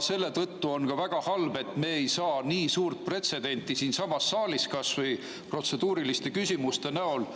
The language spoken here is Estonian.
Selle tõttu on ka väga halb, et me ei saa nii suurt pretsedenti siinsamas saalis kas või protseduuriliste küsimuste näol